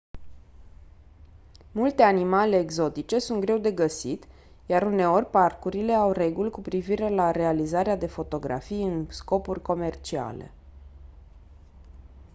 multe animale exotice sunt greu de găsit iar uneori parcurile au reguli cu privire la realizarea de fotografii în scopuri comerciale